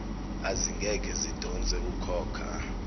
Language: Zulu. ezingeke zidonse ukhokha